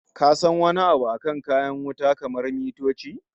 Ka san wani abu akan kayan wuta kamar mitoci?